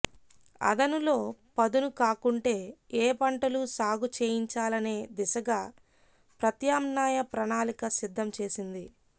అదనులో పదును కాకుంటే ఏ పంటలు సాగు చేయించాలనే దిశగా ప్రత్యామ్నాయ ప్రణాళిక సిద్ధం చేసింది